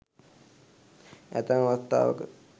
ඇතැම් අවස්ථාවක